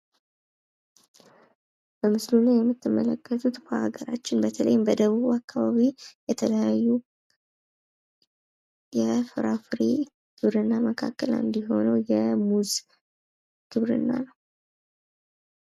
በምስሉ ላይ የምትመለከቱት በሀገራችን በተለይም በደቡብ አካባቢ የተለያዩ የፍራፍሬዝርያ መካከል አንዱ የሆነው የሙዝ ግብርና ነው።